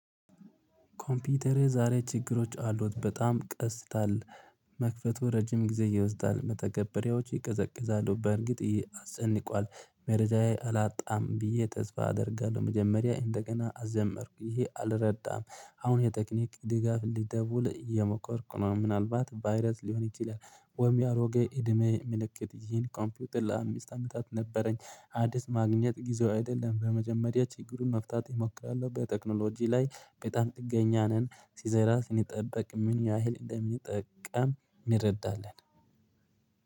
ኮምፒውተር ዛሬ ችግሮች አሉት በጣም ቀስታል መክፈቱ ረጅም ጊዜ እየወሰዳል መተገበሪያዎች ይቀዘቅዛሉ በእርግጥ አስጨንቋል። መረጃዬ አላጣም ብዬ ተስፋ አደርጋለሁ መጀመሪያ እንደገና አዘመርኩ ይሄ አልረዳም። አሁን የቴክኒክ ድጋፍ እንዲደውል እየሞከርኩ ነው ምናልባት ቫይረስ ሊሆን ይችላል። ወይም ያሮገ እድሜ ምልክት ይሄን ኮምፒውት ለአምስት አመታት ነበረኝ አዲስ ማግኘት ጊዜው አይደለም። በመጀመሪያ ችግሩን መፍታት እሞክራለሁ በቴክኖሎጂ ላይ በጣም ጥገኛ ነን ሲዘራ ስንጠብቅ ምን ያህል እንደምንጠቀም እንረዳለን።